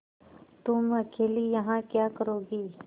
तुम अकेली यहाँ क्या करोगी